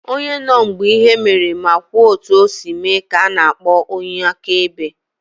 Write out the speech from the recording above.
Onye nọ mgbe ihe mere ma kwuo otu o si mee ka ana akpọ onye akaebe.